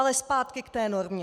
Ale zpátky k té normě.